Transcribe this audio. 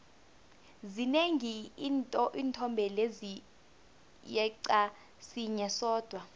zinengi iinthombe lezi yeqa sinye sodwa